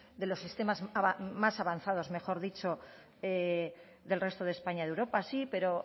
de los sistemas más avanzados del resto de españa y de europa sí pero